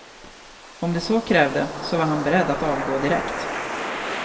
Om de så krävde, så var han beredd att avgå direkt.